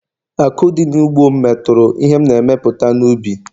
Àkụ̀ dị n’ugbo m metụrụ ihe m na-emepụta n’ubi